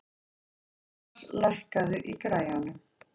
Jónas, lækkaðu í græjunum.